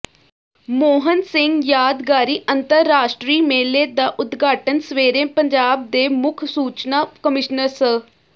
ਮੋਹਨ ਸਿੰਘ ਯਾਦਗਾਰੀ ਅੰਤਰਰਾਸ਼ਟਰੀ ਮੇਲੇ ਦਾ ਉਦਘਾਟਨ ਸਵੇਰੇ ਪੰਜਾਬ ਦੇ ਮੁੱਖ ਸੂਚਨਾ ਕਮਿਸ਼ਨਰ ਸ